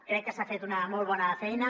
crec que s’ha fet una molt bona feina